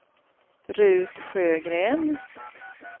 Rut Sjögren